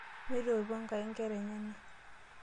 Meitoipo Enkai nkera enyenak.